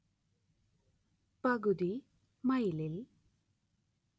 പകുതി മൈലിൽ